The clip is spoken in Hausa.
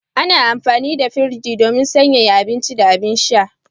Ana amfani da firji don sanyaya abinci da abin sha.